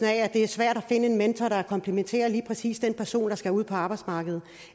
at det er svært at finde en mentor der komplementerer lige præcis den person der skal ud på arbejdsmarkedet